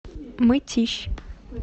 мытищ